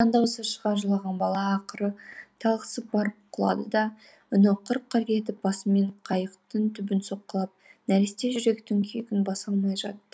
жан даусы шыға жылаған бала ақыры талықсып барып құлады да үні қыр қыр етіп басымен қайықтың түбін соққылап нәресте жүректің күйігін баса алмай жатты